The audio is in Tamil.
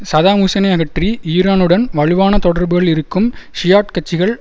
சதாம் ஹுசைனை அகற்றி ஈரானுடன் வலுவான தொடர்புகள் இருக்கும் ஷியாட் கட்சிகள்